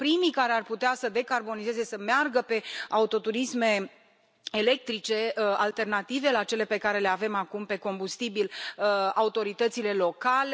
Primii care ar putea să decarbonizeze, să meargă pe autoturisme electrice alternative la cele pe care le avem acum pe combustibil autoritățile locale.